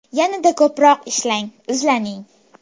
Yanada ko‘proq ishlang, izlaning.